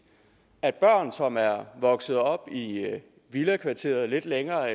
at børn som er vokset op i villakvarteret lidt længere